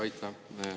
Aitäh!